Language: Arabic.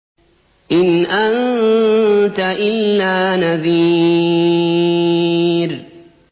إِنْ أَنتَ إِلَّا نَذِيرٌ